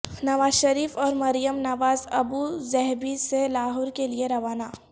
نواز شیرف اور Maryam Nawaz Abu Dhabi سے لاہور کے لئے روانہ